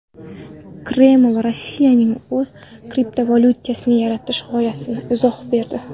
Kreml Rossiyaning o‘z kriptovalyutasini yaratish g‘oyasiga izoh berdi.